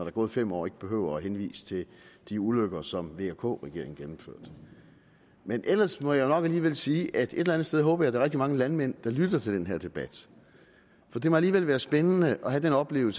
er gået fem år ikke behøver at henvise til de ulykker som vk regeringen gennemførte men ellers må jeg jo nok alligevel sige at jeg et eller andet sted håber at der er rigtig mange landmænd der lytter til den her debat for det må alligevel være spændende at opleve